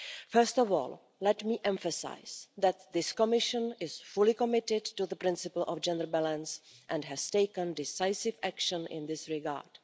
First of all, let me emphasise that this Commission is fully committed to the principle of gender balance and has taken decisive action in this regard.